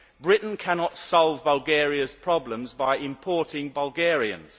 Britain cannot solve Bulgaria's problems by importing Bulgarians.